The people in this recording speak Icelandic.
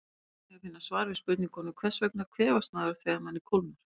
Hér er einnig að finna svar við spurningunum: Hvers vegna kvefast maður þegar manni kólnar?